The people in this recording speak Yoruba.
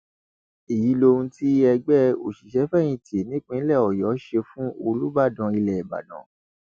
èyí lohun tí ẹgbẹ òṣìṣẹfẹyìntì nípìnlẹ ọyọ ṣe fún olùbàdàn ilẹ ìbàdàn